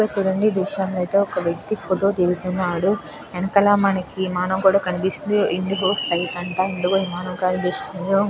చూడండి ఈ దృశ్యం లో అయితే ఒక వ్యక్తి ఫోటో దిగుతున్నాడు. వెనకాల మనకి విమానం కనిపిస్తుంది. ఇండిగో ఫ్లైట్ అంట ఇండిగో విమానం కనిపిస్తుంది. ఇండిగో ఫ్లైట్ అంట ఇండిగో విమానం కనిపిస్తుంది.